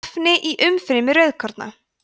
efni í umfrymi rauðkorna